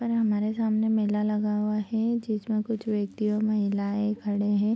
पर हमारे सामने मेला लगा हुआ है जिसमे कुछ व्यक्ति और महिलायें खड़े है।